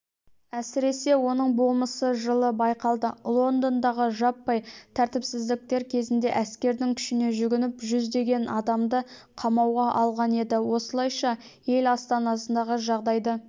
әсіресе оның болмысы жылы байқалды лондондағы жаппай тәртіпсіздіктер кезінде әскердің күшіне жүгініп жүздеген адамды қамауға алған еді осылайша ел астанасындағы жағдайды